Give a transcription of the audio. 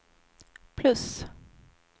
plus